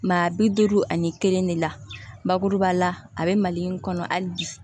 Maa bi duuru ani kelen de la bakuruba la a bɛ mali in kɔnɔ hali bi